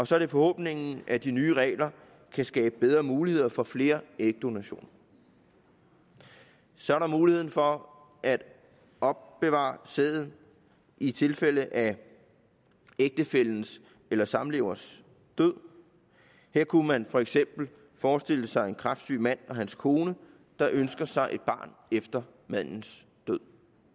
så er det forhåbningen at de nye regler kan skabe bedre muligheder for flere ægdonationer og så er der muligheden for at opbevare sæden i tilfælde af ægtefællens eller samleverens død her kunne man for eksempel forestille sig en kræftsyg mand og hans kone der ønsker sig et barn efter mandens død